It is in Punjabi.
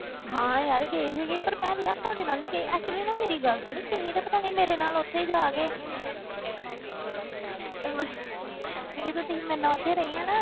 ਹਾਂ ਯਾਰ ਗਈ ਸੀਗੀ ਪਰ ਮੈਂ ਯਾਰ ਤੁਹਾਡੇ ਨਾਲ ਨੀ ਗਈ actually ਨਾ ਮੇਰੀ ਗੱਲ ਸੁਣ ਤੁਸੀਂ ਤਾਂ ਪਤਾ ਨੀ ਮੇਰੇ ਨਾਲ ਉੱਥੇ ਜਾ ਕੇ ਜਦੋਂ ਤੁਸੀਂ ਮੇਰੇ ਨਾਲ ਉੱਥੇ ਰਹੇ ਸੀ ਨਾ,